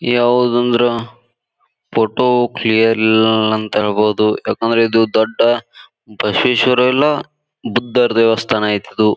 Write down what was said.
ಯಾವುದಂದ್ರ photo clear ಇಲ್ಲ ಅಂತ ಹೇಳ್ಬಹುದು ಯಾಕೆಂದ್ರ ಇದು ದೊಡ್ಡ ಬಸವೇಶ್ವರ ಇಲ್ಲ ಬುದ್ಧರ್ ದೇವಸ್ಥಾನ ಐಟ್ ಇದು.